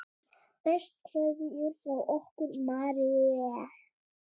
Bestu kveðjur frá okkur Marie.